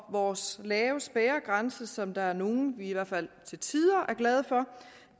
vores lave spærregrænse som der er nogle af i hvert fald til tider er glade for